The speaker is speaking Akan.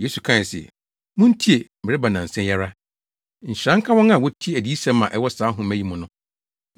Yesu kae se, “Muntie! Mereba nnansa yi ara, Nhyira nka wɔn a wotie adiyisɛm a ɛwɔ saa nhoma yi mu no!”